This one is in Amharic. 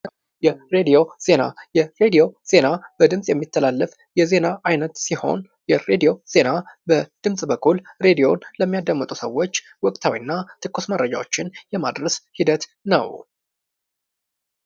የሬዲዮ ዜና ፡-የሬድዮ ዜና በድምጽ የሚተላለፍ የዜና አይነት ሲሆን ሬዲዮ ዜና በድምጽ በኩል ሬዲዮ ለሚያዳምጡ ሰዎች ወቅታዊና ትኩስ መረጃዎችን የማድረስ ሂደት ነው።